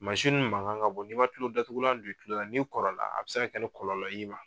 dun mankan ka bon n'i ma kulotatugulan don i kulo la n'i kɔrɔla a bɛ se ka kɛ ni kɔlɔlɔ y'i ma.